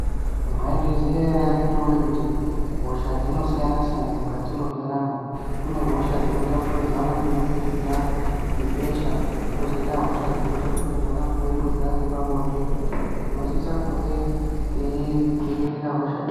Maizviziya ere akiti woye kuti hosha dzinosiyana siyana mukati mwendaramo kune hosha dzinotaupudzirwana kubudikidza ngebesha kozoita hosha dzinotaupudzirwana kubudikidza ngepabonde , tinosisa kunge taiterera hosha idzi.